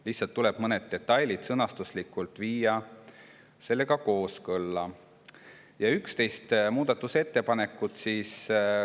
Lihtsalt tuleb mõned detailid sõnastuslikult viia eelnõuga kooskõlla.